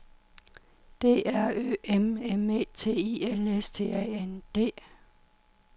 D R Ø M M E T I L S T A N D